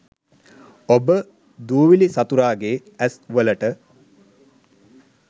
ඔබ දූවිලි සතුරාගේ ඇස් වලට